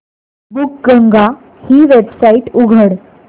बुकगंगा ही वेबसाइट उघड